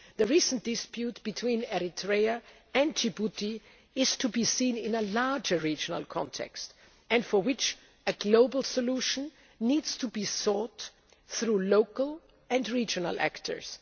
The recent dispute between Eritrea and Djibouti is to be seen in a larger regional context and for which a global solution needs to be sought through local and regional actors.